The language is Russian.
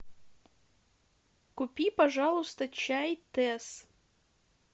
купи пожалуйста чай тесс